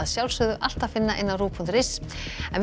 alltaf finna á rúv punktur is en við